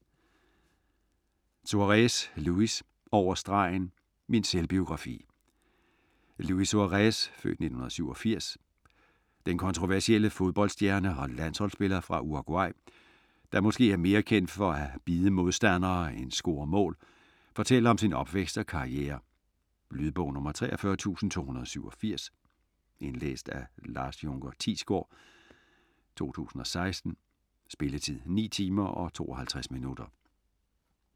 Suárez, Luis: Over stregen: min selvbiografi Luis Suárez (f. 1987), den kontroversielle fodboldstjerne og landsholdsspiller for Uruguay, der måske er mere kendt for at bide monstandere end score mål, fortæller om sin opvækst og karriere. Lydbog 43287 Indlæst af Lars Junker Thiesgaard, 2016. Spilletid: 9 timer, 52 minutter.